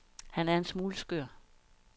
Han er en smule skør.